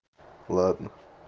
ладно